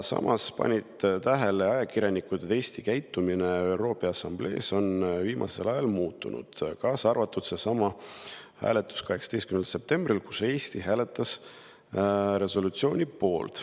Seejuures panid ajakirjanikud tähele, et Eesti käitumine ÜRO Peaassambleel on viimasel ajal muutunud, kaasa arvatud selsamal hääletusel 18. septembril, kui Eesti hääletas resolutsiooni poolt.